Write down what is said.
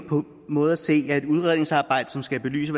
måde se at et udredningsarbejde som skal belyse